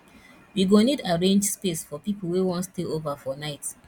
we go need arrange space for people wey wan stay over for night